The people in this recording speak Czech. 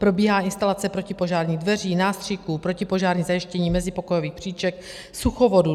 Probíhá instalace protipožárních dveří, nástřiků, protipožární zajištění mezipokojových příček, suchovodů.